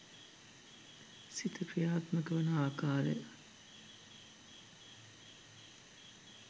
සිත ක්‍රියාත්මක වන ආකාරය,